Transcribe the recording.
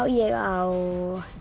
ég á